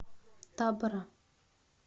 табора